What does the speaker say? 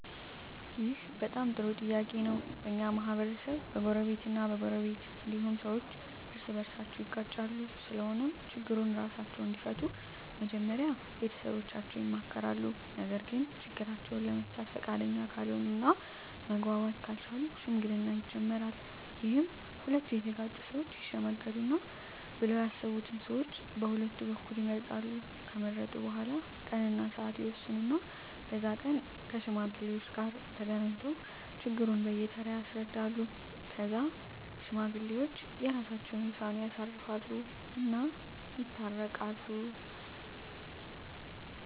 ይህ በጣም ጥሩ ጥያቄ ነው በኛ ማህበረሰብ በጎረቤት እ በጎረቤት እንዲሁም ሠዎች እርስ በርሳቸው ይጋጫሉ ስለሆነም ችግሩን እራሳቸው እንዲፈቱ መጀመሪያ ቤተሠቦቻቸው ይመከራሉ ነገርግ ችግራቸውን ለመፍታት ፈቃደኛ ካልሆነ እና መግባባት ካልቻሉ ሽምግልና ይጀመራል ይህም ሁለቱ የተጋጩ ሠወች ይሽመግሉናል ብለው ያሠቡትን ሠዎች ቀሁለቱ በኩል ይመርጣሉ ከመረጡ በኋላ ቀን እና ስዓት ይወስኑ እና በዛ ቀን ከሽማግሌዎች ጋር ተገናኝተው ችግሩን በየ ተራ ያስረዳሉ ከዛ ሽማግሌዎች የራሰቸውን ውሳኔ ያሳርፉ እና ይታረቃሉ